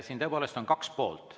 Siin tõepoolest on kaks poolt.